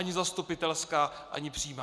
Ani zastupitelská ani přímá.